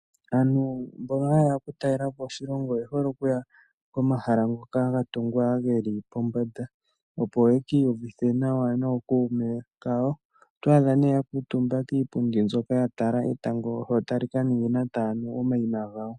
Aantu mbono haye ya okutalela po oshilongo oye hole okuya komahala ngoka ga tungwa ge li kombanda, opo ye ki iyuvithe nawa nookuume kawo. Oto adhe nee ya kuutumba kiipundi mbyoka ya tala etango tali ka ningina taya nu omayima gawo.